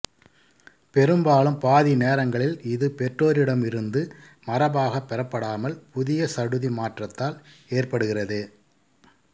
பெரும்பாலும் பாதி நேரங்களில் இது பெற்றோரிடம் இருந்து மரபாகப் பெறப்படாமல் புதிய சடுதி மாற்றத்தால் ஏற்படுகிறது